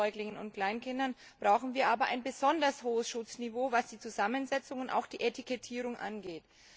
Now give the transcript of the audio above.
eben Säuglingen und Kleinkindern, brauchen wir aber ein besonders hohes Schutzniveau, was die Zusammensetzung und auch die Etikettierung angeht.